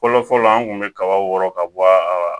Fɔlɔ fɔlɔ an tun bɛ kaba wɔɔrɔ ka bɔ a